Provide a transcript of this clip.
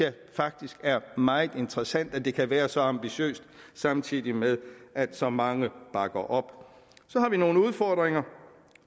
faktisk det er meget interessant at det kan være så ambitiøst samtidig med at så mange bakker op så har vi nogle udfordringer